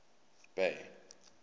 bay